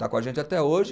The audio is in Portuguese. Está com a gente até hoje.